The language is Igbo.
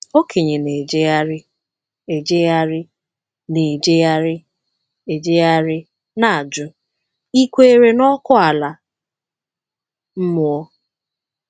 Okenye na-ejegharị ejegharị na-ejegharị ejegharị na-ajụ, ‘Ị̀ kwere na ọkụ ala mmụọ?’